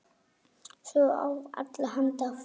Sögur af allra handa fólki.